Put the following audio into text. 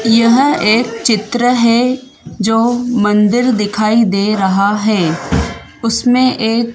यह एक चित्र है जो मंदिर दिखाई दे रहा है। उसमें एक--